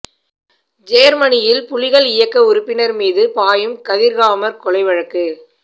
ஜேர்மனியில் புலிகள் இயக்க உறுப்பினர் மீது பாயும் கதிர்காமர் கொலை வழக்கு